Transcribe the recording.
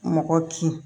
Mɔgɔ kin